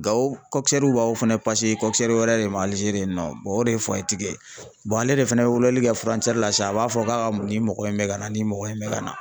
Gawo b'aw fɛnɛ wɛrɛ de ma Aligeri yen nɔ o de ye tigi ye ale de fɛnɛ be weleli kɛ la sisan a b'a fɔ k'a ka nin mɔgɔ in bɛ ka na nin mɔgɔ in bɛ ka na .